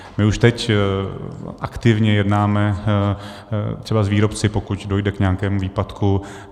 My už teď aktivně jednáme třeba s výrobci, pokud dojde k nějakému výpadku.